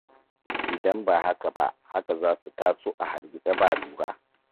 Idan ba haka ba, haka za su taso a hargitse ba lura.